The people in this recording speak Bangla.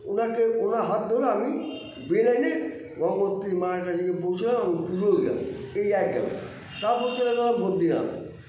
ওনাকে ওনার হাত ধরে আমি বে line -এ গঙ্গোত্রী মায়ের কাছে গিয়ে পৌছলাম পূজোও দিলাম এই এক গেলাম তারপর চলে গেলাম বদ্রীনাথ